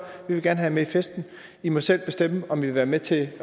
vi vil gerne have jer med i festen i må selv bestemme om i vil være med til